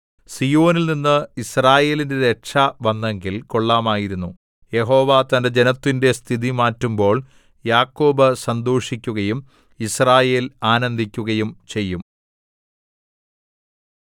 സീയോനിൽനിന്ന് യിസ്രായേലിന്റെ രക്ഷ വന്നെങ്കിൽ കൊള്ളാമായിരുന്നു യഹോവ തന്റെ ജനത്തിന്റെ സ്ഥിതി മാറ്റുമ്പോൾ യാക്കോബ് സന്തോഷിക്കുകയും യിസ്രായേൽ ആനന്ദിക്കുകയും ചെയ്യും